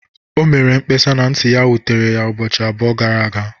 O mere mkpesa na nti ya wutere ya ụbọchị abụọ gara aga